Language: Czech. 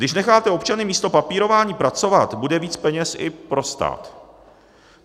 Když necháte občany místo papírování pracovat, bude víc peněz i pro stát.